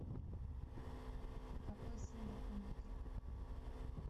какой символ у никель